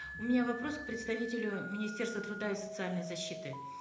у меня вопрос к представителю министерства труда и социальной защиты